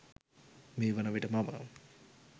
මේ වන විට මම